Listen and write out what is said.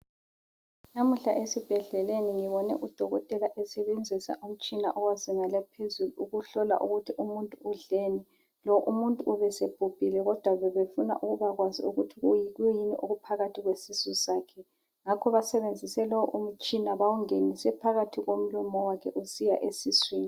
Namuhla esibhedlelni ngibone udokotela esebenzisa umtshina owezinga laphezulu ukuhlola ukuthi umuntu udleni. Lo umuntu ubesebhubhile kodwa bebefuna ukubakwazi ukuthi kuyi yikuyini okuphakathi kwesisu sakhe ngakho basebenzise lowu umtshina bawungenise phakathi komlomo wakhe usiya esiswini